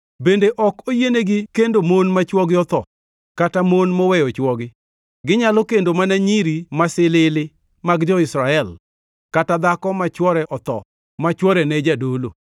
Bende ok oyienigi kendo mon ma chwogi otho, kata mon moweyo chwogi. Ginyalo kendo mana nyiri masilili mag jo-Israel, kata dhako ma chwore otho ma chwore ne jadolo.